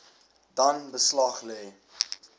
dan beslag lê